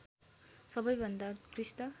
सबैभन्दा उत्कृष्ट